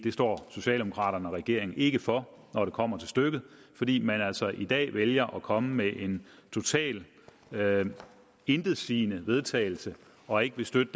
står socialdemokraterne og regeringen ikke for når det kommer til stykket fordi man altså i dag vælger at komme med et totalt intetsigende vedtagelse og ikke vil støtte